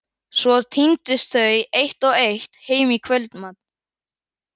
Svo tíndust þau eitt og eitt heim í kvöldmat.